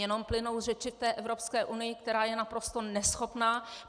Jenom plynou řeči v té Evropské unii, která je naprosto neschopná!